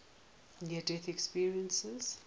near death experiences